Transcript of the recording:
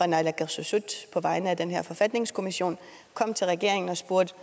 naalakkersuisut på vegne af den her forfatningskommission kom til regeringen og spurgte